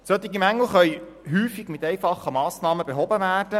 Solche Mängel können häufig mit einfachen Massnahmen behoben werden.